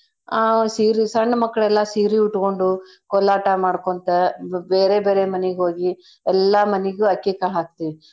ಆ ಸೀರಿ ಸಣ್ ಮಕ್ಳೆಲ್ಲಾ ಸೀರೀ ಉಟ್ಕೊಂಡು ಕೋಲಾಟ ಮಾಡ್ಕೋಂತ ಬೇರೇ ಬೇರೇ ಮನೀಗ್ ಹೋಗಿ ಎಲ್ಲಾ ಮನಿಗೂ ಅಕ್ಕಿ ಕಾಳ್ ಹಾಕ್ತೇವಿ.